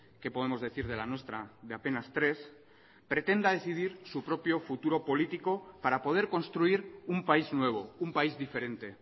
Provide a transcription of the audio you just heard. qué podemos decir de la nuestra de apenas tres pretenda decidir su propio futuro político para poder construir un país nuevo un país diferente